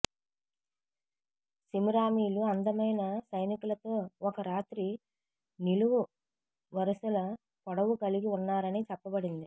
సెమిరామీలు అందమైన సైనికులతో ఒక రాత్రి నిలువు వరుసల పొడవు కలిగి ఉన్నారని చెప్పబడింది